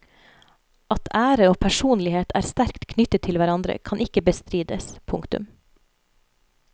At ære og personlighet er sterkt knyttet til hverandre kan ikke bestrides. punktum